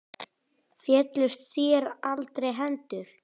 Féllust þér aldrei hendur?